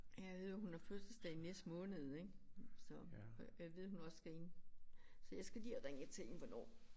Ja jeg ved at hun har fødselsdag næste måned ik så gad vide om hun også skal ind. Så jeg skal lige have ringet til hende hvornår